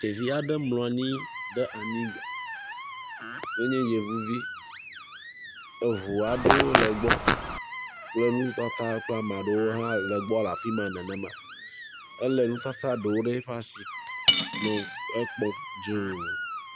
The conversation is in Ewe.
Ɖevi aɖe mlɔ anyi ɖe anyigba ye nye yevuvi. Eŋu aɖewo le gbɔ. Le nutata kple ame aɖewo hã le gbɔ le afi ma nenema. Elé nufafa aɖewo ɖe eƒe asi, nɔ ekpɔm dzũu.